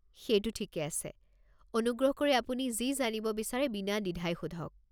সেইটো ঠিকেই আছে, অনুগ্ৰহ কৰি আপুনি যি জানিব বিচাৰে বিনাদ্বিধাই সোধক।